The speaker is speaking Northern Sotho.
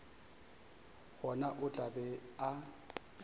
gona o tla be a